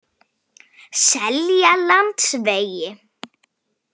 Seljalandsvegi